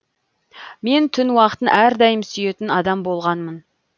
мен түн уақытын әрдайым сүйетін адам болғанмын